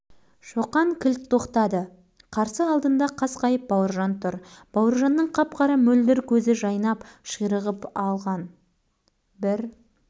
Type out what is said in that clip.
сен кім едің сонша қуанышқа ара түсетін мен бауыржанмын қай бауыржан бау-ыр-р-жан сендей батыр бауыржанды білмеймін